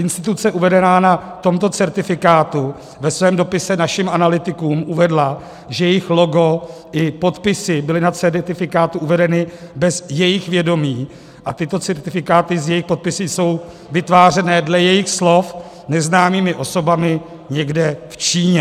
Instituce uvedená na tomto certifikátu ve svém dopise našim analytikům uvedla, že jejich logo i podpisy byly na certifikátu uvedeny bez jejich vědomí a tyto certifikáty s jejich podpisy jsou vytvářeny dle jejich slov neznámými osobami někde v Číně.